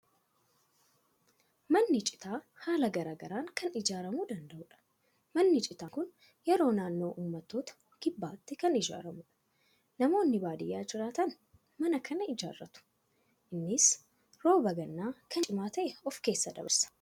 Manni citaa haala garaa garaan kan ijaaaramuu danda'udha. Manni citaan kun yeroo naannoo uummattoota kibbaatti kan ijaaramudha. Namoonni baadiyaa jiraatan mana kana ijaaratu. Innis rooba gannaa kan cimaa ta'e of keessa dabarsa.